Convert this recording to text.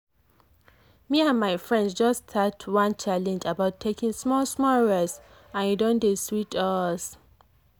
me and my friends just start one challenge about taking small-small rest and e don dey sweet us.